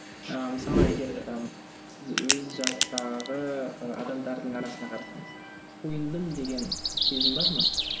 ыыы мысалға егер ы сіз өз жастағы ы адамдардың арасына қарасаңыз тойындым деген сезім бар ма